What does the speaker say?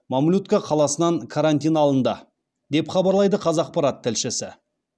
мамлютка қаласынан карантин алынды деп хабарлайды қазақпарат тілшісі